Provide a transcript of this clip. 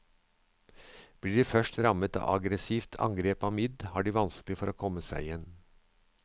Blir de først rammet av et aggressivt angrep av midd, har de vanskelig for å komme seg igjen.